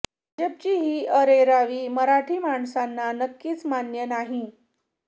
भाजपची ही अरेरावी मराठी माणसांना नक्कीच मान्य नाही